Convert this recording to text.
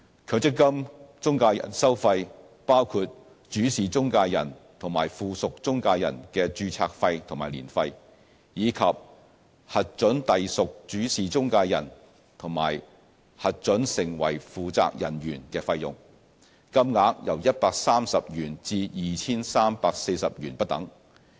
強積金中介人收費包括主事中介人及附屬中介人的註冊費和年費，以及核准隸屬主事中介人和核准成為負責人員的費用，金額由130元至 2,340 元不等。